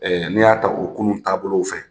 n'i y'a ta o kunun taabolow fɛ,